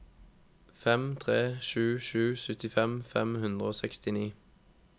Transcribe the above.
fem tre sju sju syttifem fem hundre og sekstini